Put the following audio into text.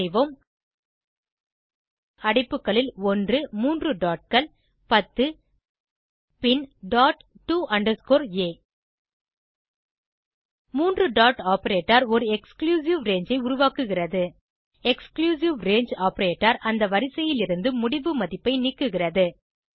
type செய்வோம் அடைப்புகளில் 1 மூன்று dotகள் 10 பின் டாட் டோ அண்டர்ஸ்கோர் ஆ மூன்று டாட் ஆப்பரேட்டர் ஒரு எக்ஸ்க்ளூசிவ் ரங்கே ஐ உருவாக்குகிறது எக்ஸ்க்ளூசிவ் ரங்கே ஆப்பரேட்டர் அந்த வரிசையிலிருந்து முடிவு மதிப்பை நீக்குகிறது